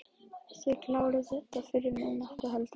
Linda: Þið klárið þetta fyrir miðnætti, heldurðu?